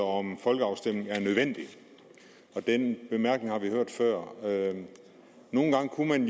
om en folkeafstemning er nødvendig den bemærkning har vi hørt før nogle gange kunne man